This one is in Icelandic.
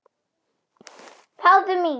Fáðu mink.